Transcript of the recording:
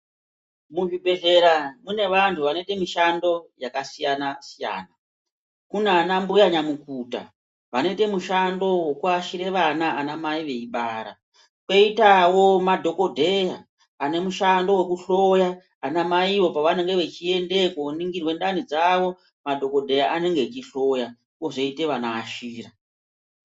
Muzvibhedhlera mune vanhu vanoite mishando yakasiyana siyana , kune anambuya nyamukuta vanoite mushando wekuashire ana anamai veibara, koitawo madhokodheya ane mushando wekuhloya anamaiwo pavanenge vechiendeyo koningirwe ndanidzawo madhokodheya anenge echihloya kozoite vanoashira.